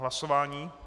Hlasování?